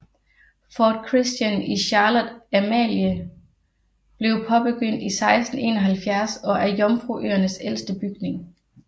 Fort Christian i Charlotte Amalie blev påbegyndt i 1671 og er Jomfruøernes ældste bygning